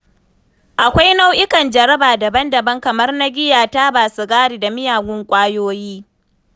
Akwai nau’ikan jaraba daban-daban, kamar na giya, taba sigari, da miyagun ƙwayoyi.